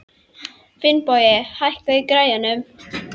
Finnbogi, hækkaðu í græjunum.